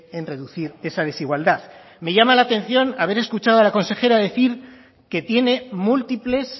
en reducir esa desigualdad me llama la atención haber escuchado a la consejera decir que tiene múltiples